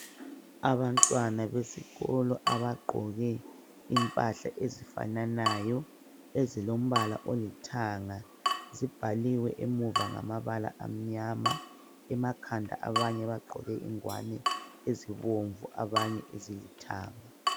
Abantwana besikolo abagqoke impahla ezifananayo ezilombala olithanga zimbaliwe emuva ngama bala amnyama emakhanda abanye bagqoke ingwane ezibomvu abanye ezilithanga